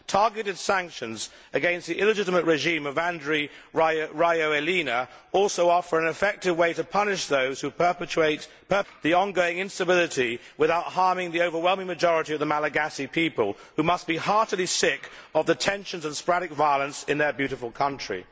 Targeted sanctions against the illegitimate regime of Andry Rajoelina also offer an effective way to punish those who perpetrate the ongoing instability without harming the overwhelming majority of the Malagasy people, who must be heartedly sick of the tensions and sporadic violence in their beautiful country.